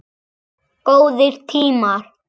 Góðir tímar.